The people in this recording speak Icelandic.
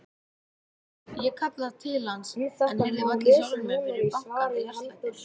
Ég kallaði til hans en heyrði varla í sjálfri mér fyrir bankandi hjartslættinum.